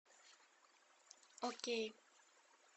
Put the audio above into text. окей